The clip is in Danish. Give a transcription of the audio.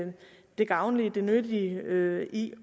det gavnlige og det nyttige i